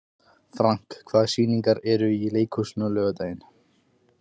Frank, hvaða sýningar eru í leikhúsinu á laugardaginn?